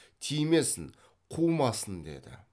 тимесін қумасын деді